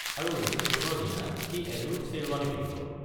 আৰু ৰিচেপশ্যনৰ দিনা সি এযোৰ শ্বেৰৱানী পিন্ধিব।